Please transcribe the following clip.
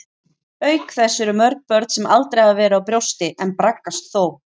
Auk þess eru mörg börn sem aldrei hafa verið á brjósti, en braggast þó.